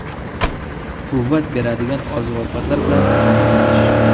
Quvvat beradigan oziq-ovqatlar bilan ovqatlanish.